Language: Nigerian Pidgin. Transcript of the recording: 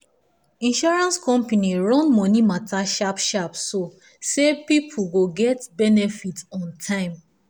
insurance company run money matter sharp sharp so say people go get benefit on time.